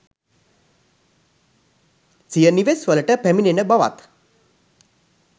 සිය නිවෙස්වලට පැමිණෙන බවත්